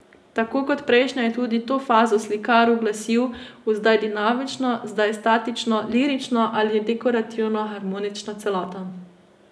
Tako kot prejšnje je tudi to fazo slikar uglasil v zdaj dinamično, zdaj statično, lirično ali dekorativno harmonično celoto.